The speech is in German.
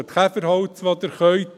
Braucht Käferholz, wo ihr könnt.